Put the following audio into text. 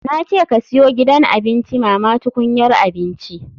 Na ce ka siyo gidan abinci mama tukunyar abinci.